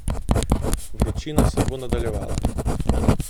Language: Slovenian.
Vročina se bo nadaljevala.